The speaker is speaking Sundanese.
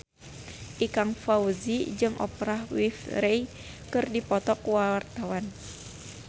Ikang Fawzi jeung Oprah Winfrey keur dipoto ku wartawan